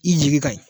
I jigi ka ɲi